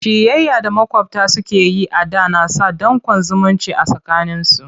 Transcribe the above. Ciyayya da maƙwabta suke yi a da na sa danƙon zumunci a tsakaninsu.